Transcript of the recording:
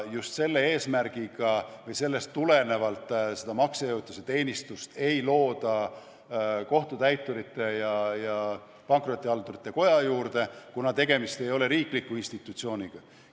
Just selle eesmärgiga või sellest tulenevalt ei looda seda maksejõuetuse teenistust Kohtutäiturite ja Pankrotihaldurite Koja juurde, sest tegemist ei ole riikliku institutsiooniga.